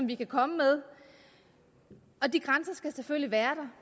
vi kan komme med og de grænser skal selvfølgelig være der